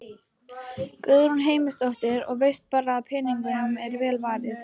Guðrún Heimisdóttir: Og veist bara að peningunum er vel varið?